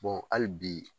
hali bi